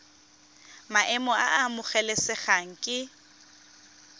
maemo a a amogelesegang ke